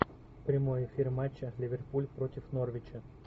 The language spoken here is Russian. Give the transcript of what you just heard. прямой эфир матча ливерпуль против норвича